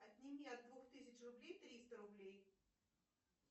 отними от двух тысяч рублей триста рублей